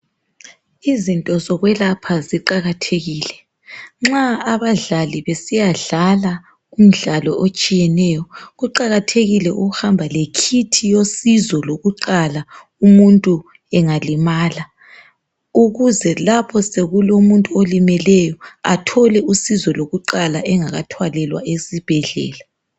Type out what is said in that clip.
Izinto zokwelapha ziqakathekile nxa abadlali besiya dlala kumdlalo otshiyeneyo kuqakathekile ukuhamba lekhithi yosizo lokuqala umuntu engalimala. Ukuze lapho sokulo muntu olimeleyo athole usizo lokuqala engaka thwalelwa esibhedlela.